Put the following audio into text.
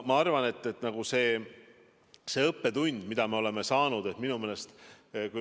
Ma arvan, et me oleme saanud õppetunni.